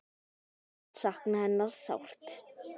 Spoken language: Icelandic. Ég mun sakna hennar sárt.